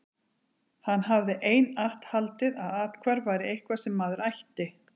Hann hafði einatt haldið að athvarf væri eitthvað sem maður ætti.